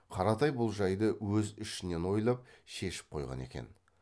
қаратай бұл жайды өз ішінен ойлап шешіп қойған екен